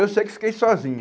Eu sei que fiquei sozinho.